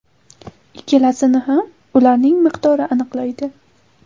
Ikkalasini ham ularning miqdori aniqlaydi.